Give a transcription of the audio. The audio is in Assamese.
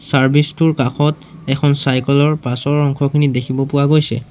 চাৰ্ভিচ টোৰ কাষত এখন চাইকেল ৰ পাছৰ অংশখিনি দেখিব পোৱা গৈছে।